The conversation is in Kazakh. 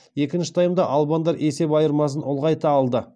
екінші таймда албандар есеп айырмасын ұлғайта алды